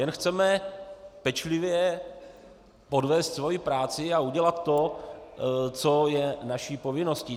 Jen chceme pečlivě odvést svoji práci a udělat to, co je naší povinností.